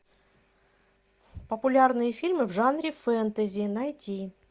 популярные фильмы в жанре фэнтези найти